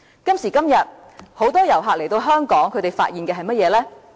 今時今日，很多遊客來到香港發現到的是甚麼呢？